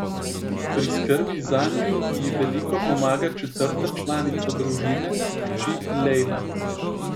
Pri skrbi zanju ji veliko pomaga četrta članica družine, hči Lejla.